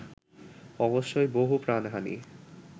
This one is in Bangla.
অবশ্যই বহু প্রাণহানি